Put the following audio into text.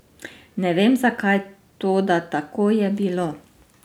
Ne vem zakaj, toda tako je bilo.